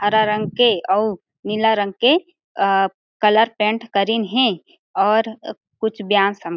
हरा रंग के अउ नीला रंग के अ कलर पेंट करिन हे और कुछ ब्या स --